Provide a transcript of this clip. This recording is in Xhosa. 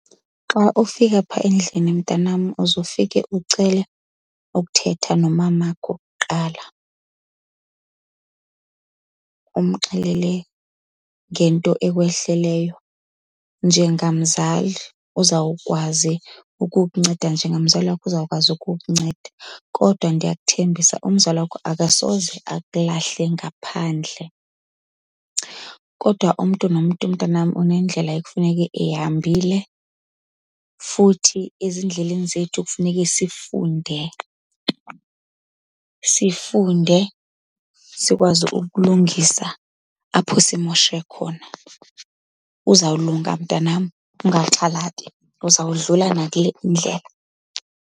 Xa ufika phaa endlini mntanam, uze ufike ucele ukuthetha nomamakho kuqala umxelele ngento ekwehleleyo. Njengamzali uzawukwazi ukukunceda, njengamzali wakho uzawukwazi ukukunceda. Kodwa ndiyakuthembisa, umzali wakho akasoze akulahle ngaphandle. Kodwa umntu nomntu mntanam unendlela ekufuneke eyihambile futhi ezindleleni zethu kufuneke sifunde. Sifunde sikwazi ukulungisa apho simoshe khona. Kuzawulunga mntanam, ungaxhalabi. Uzawudlula nakule indlela.